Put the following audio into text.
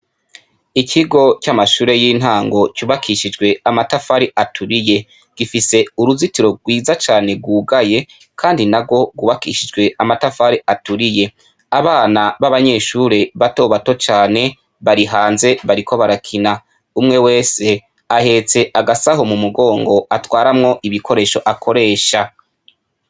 Ikigo c'amashure y'intango cubakishijwe amatafari aturiye. Gifise uruzitiro rwiza cane rwugaye kandi narwo rwubakishijwe amatafari aturiye. Abana b'abanyeshure batobato cane bari hanze bariko barakina. Umwe wese ahetse agasaho mu mugongo atwaramwo ibikoresho akoresha.